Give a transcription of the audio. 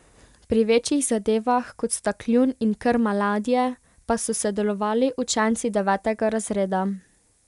Pri večjih zadevah, kot sta kljun in krma ladje, pa so sodelovali učenci devetega razreda.